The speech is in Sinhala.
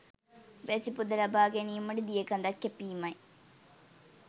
වැසි පොද ලබා ගැනීමට දිය කඳක් කැපීමයි.